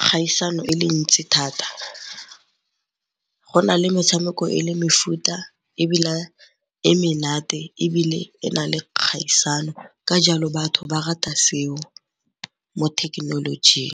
kgaisano e le ntsi thata. Go na le metshameko e le mefuta ebile e menate ebile e na le kgaisano ka jalo batho ba rata seo mo thekenolojing.